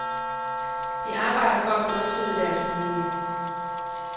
De arbejder for at brødføde deres familie.